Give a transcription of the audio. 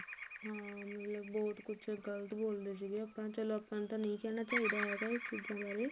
ਹਾਂ ਮਤਲਬ ਬਹੁਤ ਕੁਝ ਗਲਤ ਬੋਲਦੇ ਸੀ ਆਪਾਂ ਚਲੋ ਆਪਾਂ ਨੂੰ ਤਾਂ ਨਹੀ ਕਹਿਣਾ ਚਾਹੀਦਾ ਇਸ ਚੀਜ਼ਾਂ ਬਾਰੇ